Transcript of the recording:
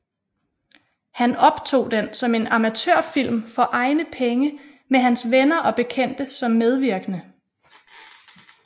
Han optog den som en amatørfilm for egne penge med hans venner og bekendte som medvirkende